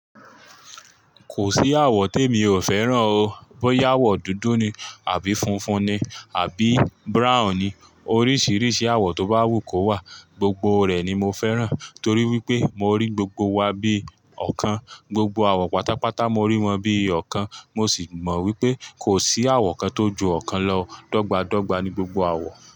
Kò sí àwọ̀ tí emi ò fẹ́ràn o, bóyá àwọ̀ dúdú ni àbí funfun ni àbí brown ni. Oríṣiríṣi àwọ̀ tó bá wù kó wà, gbogbo rẹ̀ ni mo fẹ́ràn torí wípé mo rí gbogbo wa bí ọ̀kan. Gbogbo àwọ̀ pátápátá mo rí wọn bí ọ̀kan, mo sì mọ̀ wípé kò sí àwọ̀ kan tó ju ọ̀kan lọ. Dọ́gba dọ́gba ni gbogbo àwọ̀